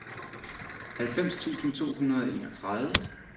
halvfems tusind to hundrede og enogtredive